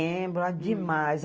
Ah, lembro, é demais.